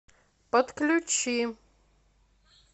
подключи